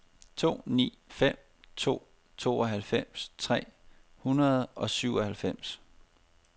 to ni fem to tooghalvfems tre hundrede og syvoghalvfems